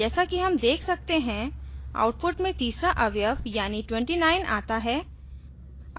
जैसा कि हम देख सकते हैं output में तीसरा अवयव यानी 29आता है